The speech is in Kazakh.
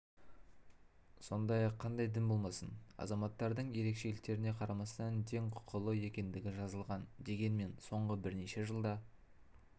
сондай-ақ қандай дін болмасын азаматтардың ерекшеліктеріне қарамастан тең құқылы екендігі жазылған дегенмен соңғы бірнеше жылда